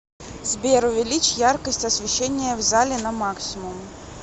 сбер увеличь яркость освещения в зале на максимум